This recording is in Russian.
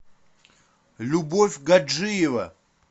любовь гаджиева